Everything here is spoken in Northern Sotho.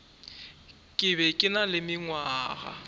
be ke na le mengwaga